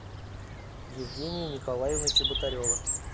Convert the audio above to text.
евгения николаевна чеботарева